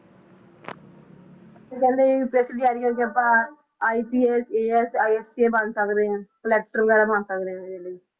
ਤੇ ਕਹਿੰਦੇ UPSC ਦੀ ਤਿਆਰੀ ਕਰਕੇ ਆਪਾਂ IPSASISP ਬਣ ਸਕਦੇ ਹਾਂ collector ਵਗ਼ੈਰਾ ਬਣ ਸਕਦੇ ਹਾਂ ਇਹਦੇ ਲਈ